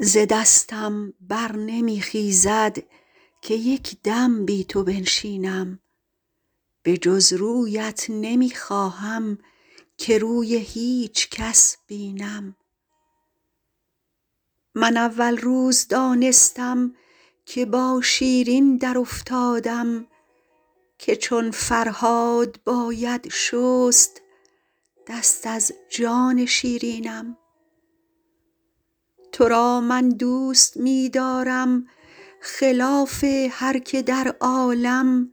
ز دستم بر نمی خیزد که یک دم بی تو بنشینم به جز رویت نمی خواهم که روی هیچ کس بینم من اول روز دانستم که با شیرین درافتادم که چون فرهاد باید شست دست از جان شیرینم تو را من دوست می دارم خلاف هر که در عالم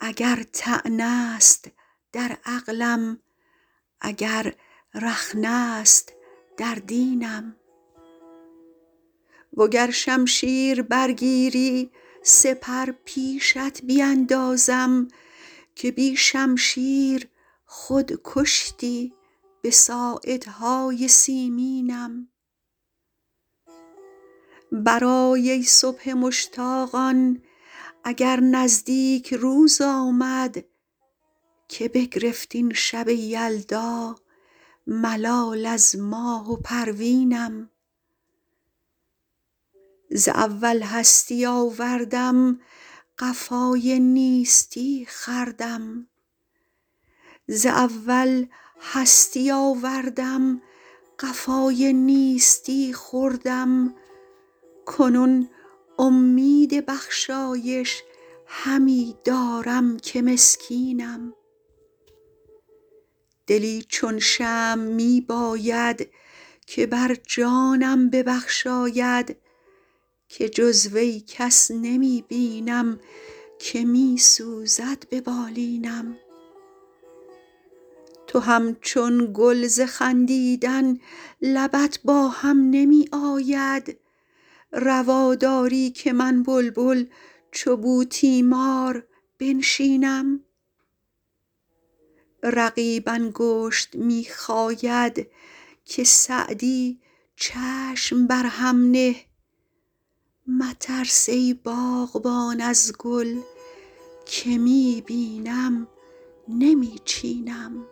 اگر طعنه است در عقلم اگر رخنه است در دینم و گر شمشیر برگیری سپر پیشت بیندازم که بی شمشیر خود کشتی به ساعدهای سیمینم برآی ای صبح مشتاقان اگر نزدیک روز آمد که بگرفت این شب یلدا ملال از ماه و پروینم ز اول هستی آوردم قفای نیستی خوردم کنون امید بخشایش همی دارم که مسکینم دلی چون شمع می باید که بر جانم ببخشاید که جز وی کس نمی بینم که می سوزد به بالینم تو همچون گل ز خندیدن لبت با هم نمی آید روا داری که من بلبل چو بوتیمار بنشینم رقیب انگشت می خاید که سعدی چشم بر هم نه مترس ای باغبان از گل که می بینم نمی چینم